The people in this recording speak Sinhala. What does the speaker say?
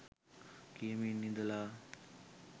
කියමින් ඉඳලා